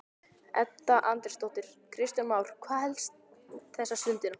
Edda Andrésdóttir: Kristján Már, hvað er helst þessa stundina?